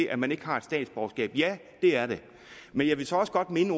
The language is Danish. at man ikke har et statsborgerskab ja det er det men jeg vil så også godt minde